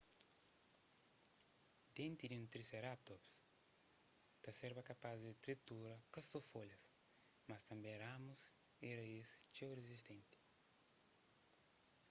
denti di un triseratops ta serba kapaz di tritura ka so folhas mas tanbê ramus y raíz txeu rizistenti